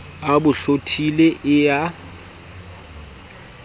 a bo hlothile e ya